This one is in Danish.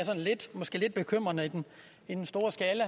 lidt bekymrende i den store skala